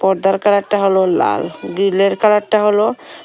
পর্দার কালারটা হল লাল গ্রিলের কালারটা হল।